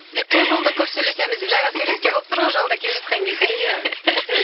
айтты ғой жолда көп сөйлесеміз деп жаңа болып тұр ғой жолда келе жатқан кезде